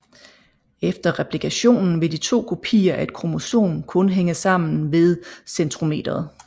Efter replikationen vil de to kopier af et kromosom kun hænge sammen ved centromeret